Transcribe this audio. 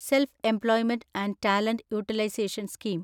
self-employment and talent utilisation scheme